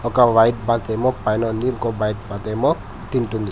ఒక white bath ఏమో పైన ఉంది ఇంకో వైట్ బాత్ ఏమో తింటుంది.